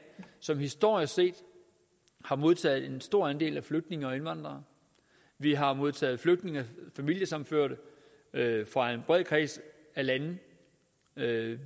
som historisk set har modtaget en stor andel af flygtninge og indvandrere vi har modtaget flygtninge og familiesammenførte fra en bred kreds af lande